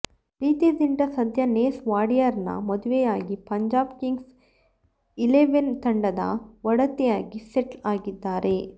ಪ್ರೀತಿ ಜಿಂಟಾ ಸದ್ಯ ನೆಸ್ ವಾಡಿಯಾರನ್ನ ಮದುವೆಯಾಗಿ ಪಂಜಾಬ್ ಕಿಂಗ್ಸ್ ಇಲೆವೆನ್ ತಂಡದ ಒಡತಿಯಾಗಿ ಸೆಟ್ಲ್ ಆಗಿದ್ದಾರೆ